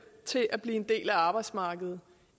til at blive en del af arbejdsmarkedet